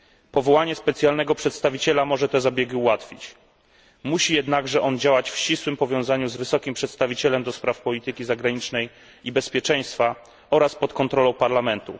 Powołanie specjalnego przedstawiciela może te zabiegi ułatwić, musi jednakże działać on w ścisłym powiązaniu z wysokim przedstawicielem do spraw polityki zagranicznej i bezpieczeństwa oraz pod kontrolą Parlamentu.